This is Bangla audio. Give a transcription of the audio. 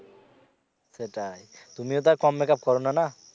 সেটাই তুমিও তো আর কম make up করো না?